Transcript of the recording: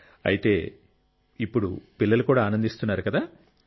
కాబట్టి ఇప్పుడు పిల్లలు కూడా ఆనందిస్తున్నారు